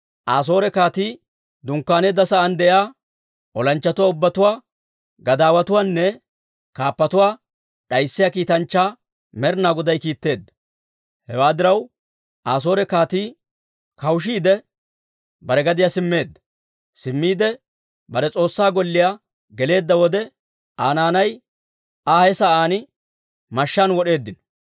Asoore kaatii dunkkaaneedda sa'aan de'iyaa olanchchatuwaa ubbatuwaa, gadaawatuwaanne kaappatuwaa d'ayssiyaa kiitanchchaa Med'inaa Goday kiitteedda. Hewaa diraw, Asoore kaatii kawushiide, bare gadiyaa simmeedda. Simmiide, bare s'oossaa golliyaa geleedda wode, Aa naanay Aa he sa'aan mashshaan wod'eeddino.